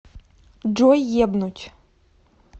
джой ебнуть